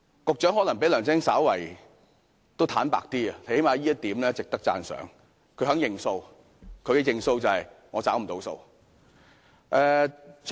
局長可能比梁振英稍為坦白，最少這方面是值得讚賞的，因他肯"認數"。